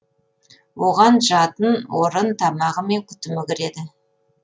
оған жатын орын тамағы мен күтімі кіреді